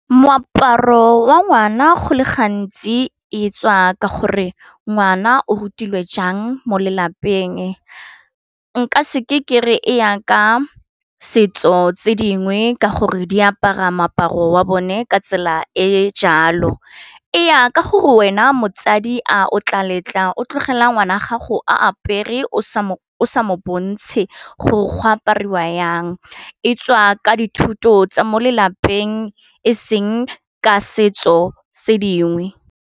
Moaparo wa ngwana go le gantsi e tswa ka gore ngwana o rutilwe jang mo lelapeng, nka seke kere e ya ka setso tse dingwe ka gore di apara moaparo wa bone ka tsela e jalo, eya ka gore wena motsadi a o tla letla o tlogela ngwana gago a apere o sa bontshe gore go apariwa yang e tswa ka dithuto tsa mo lelapeng eseng ka setso tse dingwe.